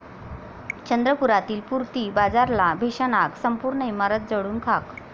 चंद्रपुरातील पूर्ती बाजारला भीषण आग, संपूर्ण इमारत जळून खाक